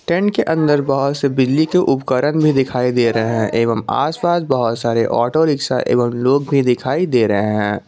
Tent के अंदर बहुत से बिजली के उपकरण भी दिखाई दे रहे है एवंम आस पास बहुत सारे ऑटो रिक्शा एवंम लोग भी दिखाई दे रहे है।